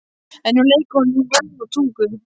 En nú leika honum ljóð á tungu.